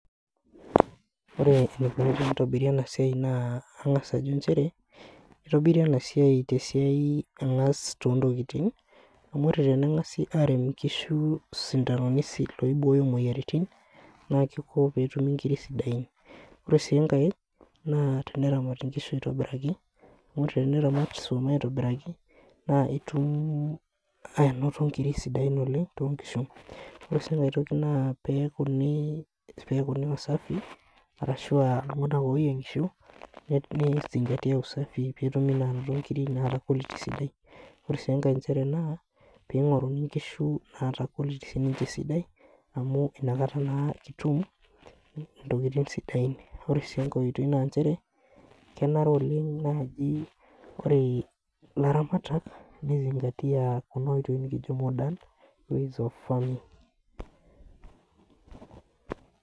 Ore enikuni tenitobiri enasiai na kangasa ajo nchere, itobiri enasia tesiai angas tontokitin amu ore tenengasai arem nkishu sindanoni loibooyo moyiaritin na kiko petumi nkirik sidain ore si enkae na teneramaki nkishu aitobiraki amu teneramati aitobiraki na itum ainoto nkirik sidain oleng to kishu ore si enkae toki na pekuni pekuni aa ssafi ashu altunganak ogira ayiengisho pe izingatia usafi petumi nkirik nara quality sidai ore si enkae mchere na pingoruni nkishu nara quality sidai amu inakata na kitum ntokitin sidain, ore si enkoitoi na nchere kenare oleng naji ore laramatak nizingatia oleng kuna oitoi nikijo modern ways of farming